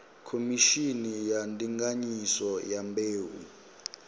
khomishini ya ndinganyiso ya mbeu